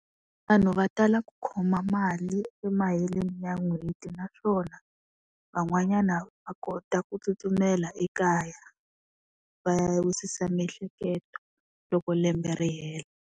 Vanhu va tala ku khoma mali emaheleni ya n'hweti naswona, van'wanyana va kota ku tsutsumela ekaya, va ya wisisa miehleketo, loko lembe ri hela.